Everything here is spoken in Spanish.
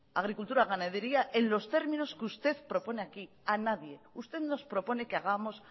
agricultura o ganadería en los términos que usted propone aquí a nadie usted nos propone que hagamos